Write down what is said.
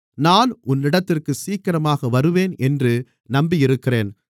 நான் உன்னிடத்திற்குச் சீக்கிரமாக வருவேன் என்று நம்பியிருக்கிறேன்